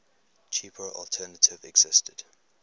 cheaper alternative existed